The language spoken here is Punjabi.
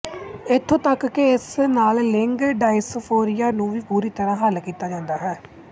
ਇਥੋਂ ਤੱਕ ਕਿ ਇਸ ਨਾਲ ਲਿੰਗ ਡਾਇਸਫੋਰੀਆ ਨੂੰ ਵੀ ਪੂਰੀ ਤਰ੍ਹਾਂ ਹੱਲ ਕੀਤਾ ਜਾਂਦਾ ਹੈ